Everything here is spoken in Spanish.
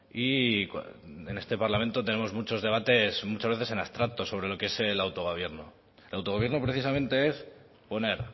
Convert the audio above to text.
y en este parlamento tenemos muchos debates muchas veces en abstracto sobre lo que es el autogobierno el autogobierno precisamente es poner